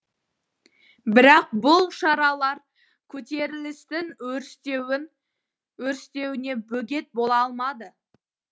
бірақ бұл шаралар көтерілістің өрістеуіне бөгет бола алмады